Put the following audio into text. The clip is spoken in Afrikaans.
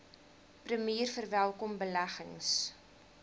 premier verwelkom beleggings